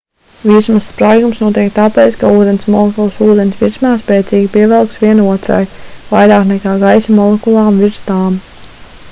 virsmas spraigums notiek tāpēc ka ūdens molekulas ūdens virsmā spēcīgi pievelkas viena otrai vairāk nekā gaisa molekulām virs tām